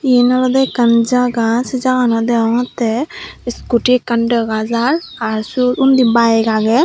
eyen olode ekan jaga seh jaganot degongte escoti ekan degajai aar suot undi bike aagey.